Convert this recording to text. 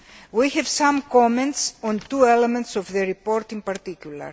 We have some comments on two elements of the report in particular.